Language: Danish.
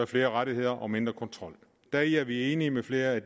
flere rettigheder og mindre kontrol deri er vi enige med flere af